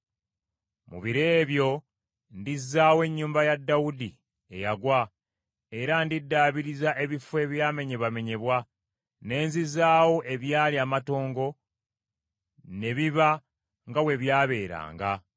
“Mu biro ebyo ndizzaawo ennyumba ya Dawudi eyagwa era ndiddaabiriza ebifo ebyamenyebwamenyebwa, ne nzizaawo ebyali amatongo, ne biba nga bwe byabeeranga,